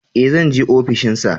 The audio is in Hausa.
Ee, zan je ofishin sa.